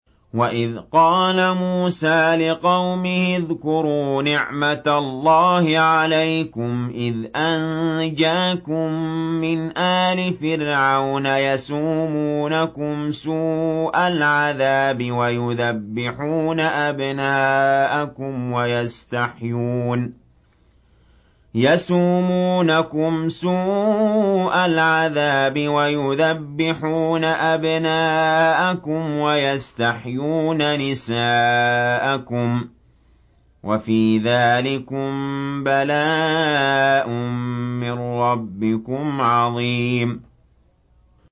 وَإِذْ قَالَ مُوسَىٰ لِقَوْمِهِ اذْكُرُوا نِعْمَةَ اللَّهِ عَلَيْكُمْ إِذْ أَنجَاكُم مِّنْ آلِ فِرْعَوْنَ يَسُومُونَكُمْ سُوءَ الْعَذَابِ وَيُذَبِّحُونَ أَبْنَاءَكُمْ وَيَسْتَحْيُونَ نِسَاءَكُمْ ۚ وَفِي ذَٰلِكُم بَلَاءٌ مِّن رَّبِّكُمْ عَظِيمٌ